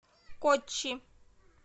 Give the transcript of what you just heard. коччи